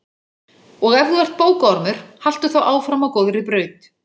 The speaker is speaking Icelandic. Og ef þú ert bókaormur, haltu þá áfram á góðri braut.